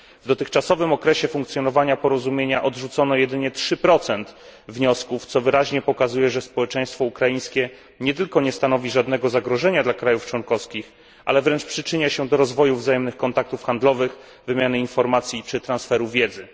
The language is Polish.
W dotychczasowym okresie funkcjonowania porozumienia odrzucono jedynie 3 wniosków, co wyraźnie pokazuje, że społeczeństwo ukraińskie nie tylko nie stanowi żadnego zagrożenia dla krajów członkowskich, ale wręcz przyczynia się do rozwoju wzajemnych kontaktów handlowych, wymiany informacji czy transferu wiedzy.